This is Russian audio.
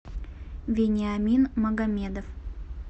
вениамин магомедов